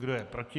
Kdo je proti?